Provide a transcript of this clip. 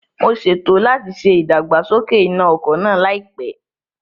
Mo ṣètò láti ṣe ìdàgbàsókè iná ọkọ̀ náà láìpẹ́